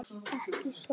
Ekki sorg.